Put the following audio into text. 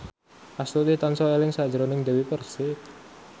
Astuti tansah eling sakjroning Dewi Persik